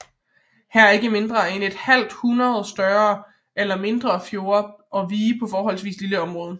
Her er ikke mindre end et halvt hundrede større eller mindre fjorde og vige på forholdsvis lille område